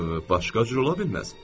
Başqa cür ola bilməz.